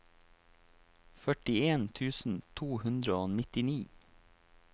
førtien tusen to hundre og nittini